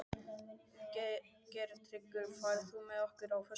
Geirtryggur, ferð þú með okkur á föstudaginn?